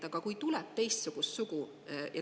Aga kui tuleb teistsugust sugu?